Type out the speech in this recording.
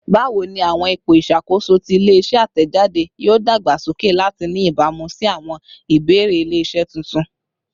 Bawo ni awọn ipo iṣakoso ti ile-iṣẹ atẹjade yoo dagbasoke lati ni ibamu si awọn ibeere ile-iṣẹ tuntun?